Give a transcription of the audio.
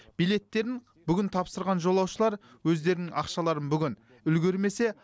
билеттерін бүгін тапсырған жолаушылар өздерінің ақшаларын бүгін үлгермесе